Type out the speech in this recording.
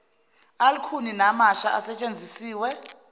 alukhuni namasha asetshenzisiwe